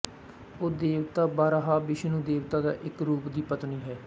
ਉਹ ਦੇਵਤਾ ਵਾਰਾਹ ਵਿਸ਼ਨੂੰ ਦੇਵਤਾ ਦਾ ਇੱਕ ਰੂਪ ਦੀ ਪਤਨੀ ਹੈ